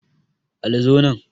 Ali zo nan